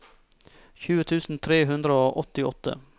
tjue tusen tre hundre og åttiåtte